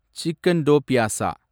chicken do pyaza